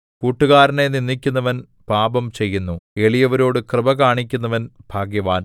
കൂട്ടുകാരനെ നിന്ദിക്കുന്നവൻ പാപം ചെയ്യുന്നു എളിയവരോട് കൃപ കാണിക്കുന്നവൻ ഭാഗ്യവാൻ